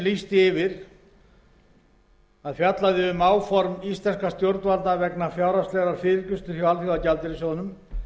lýsti yfir að fjallaði um áform íslenskra stjórnvalda vegna fjárhagslegrar fyrirgreiðslu hjá alþjóðagjaldeyrissjóðnum